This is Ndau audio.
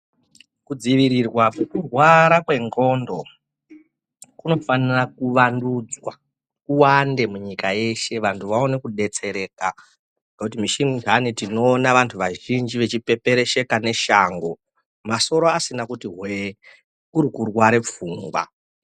Ku dzivirirwa kweku rwara kwe ndxondo kuno fanira ku vandudzwa kuwande mu nyika yeshe vantu vaone ku detsereka ngekuti mishi mundani tinoona vantu vazhinji vachi peperesheka ne shango masoro asina kuti hwe kuri kurware pfungwa.